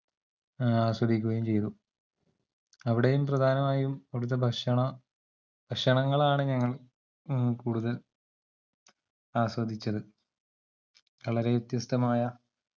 ആസ്വദിക്കുകയും ചെയ്തു അവിടെയും പ്രധാനമായും അവിടത്തെ ഭക്ഷണ ഭക്ഷണങ്ങളാണ് ഞങ്ങൾ മ്മ് കൂടുതൽ ആസ്വദിച്ചത് വളരെവ്യത്യസ്തമായ